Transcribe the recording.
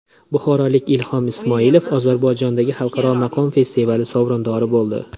Buxorolik Ilhom Ismoilov Ozarbayjondagi xalqaro maqom festivali sovrindori bo‘ldi.